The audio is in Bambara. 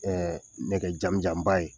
Ɛɛ nɛgɛ jamijanba ye